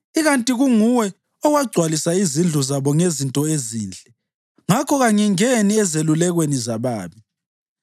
Ikanti kunguye owagcwalisa izindlu zabo ngezinto ezinhle, ngakho kangingeni ezelulekweni zababi.